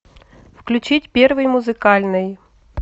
включить первый музыкальный